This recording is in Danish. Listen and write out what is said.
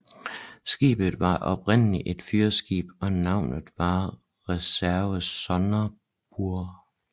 Skibet var oprindeligt et fyrskib og navnet var Reserve Sonderburg